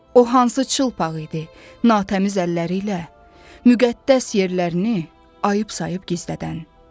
O hansı çılpaq idi natəmiz əlləri ilə müqəddəs yerlərini ayıb sayıb gizlədən.